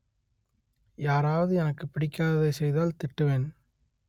யாராவது எனக்குப் பிடிக்காததை செய்தால் திட்டுவேன்